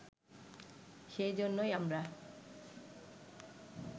সে জন্যেই আমরা